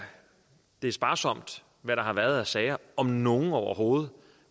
sparsomt hvad der har været af sager om nogen overhovedet